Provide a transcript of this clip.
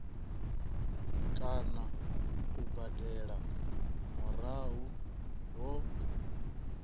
kana u badela murahu ho